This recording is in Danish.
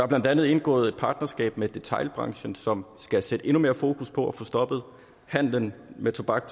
blandt andet indgået et partnerskab med detailbranchen som skal sætte endnu mere fokus på at få stoppet handelen med tobak